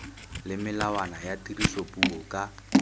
le melawana ya tirisopuo ka